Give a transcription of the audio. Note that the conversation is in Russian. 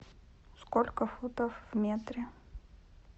сколько футов в метре